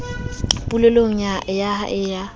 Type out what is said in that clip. polelong ya a le ya